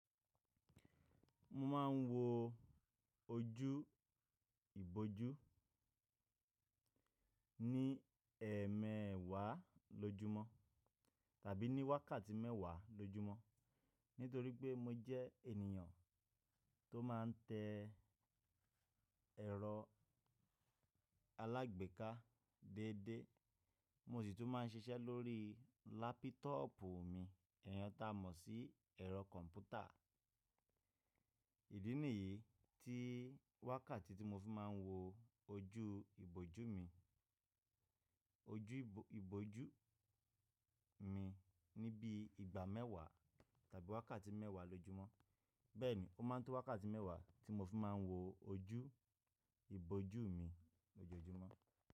Mo máa ń wo ojú ìbòjú ní ẹ̀ẹ̀mẹ́wàá lójúmọ́ tàbí ní wákàtí mẹ́wàá lójúmọ́. Nítorí pé mo jẹ́ ènìyàn tó máa ń tẹ ẹ̀rọ alágbèéká déédé, mo sì tún máa ń ṣiṣẹ́ lórí lápitọọ̀pù mi, èèyàn ta mọ̀ sí ẹ̀rọ kọ̀m̀pútà. Ìdí nìyí tí wákàtí tí mo fi máa ń wo ojú ìbòjú mi, ojú ìbòjú mi níbi ìgbà mẹ́wàá tàbí wákàtí mẹ́wàá lójúmọ́. Bẹ́ẹ̀ ni, ó máa ń tó wákàtí mẹ́wàá tí mo fi máa ń wo ojú ìbòjú mi lójoojúmọ́.